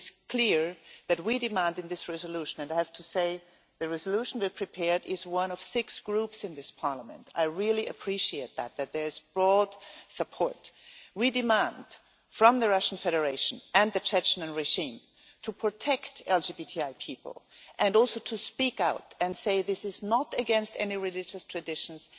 It is clear that we demand in this resolution and I have to say the resolution we prepared is one of six groups in this Parliament, I really appreciate that there is broad support we demand from the Russian Federation and the Chechnya regime to protect LGBTI people and also to speak out and say this is not against any religious traditions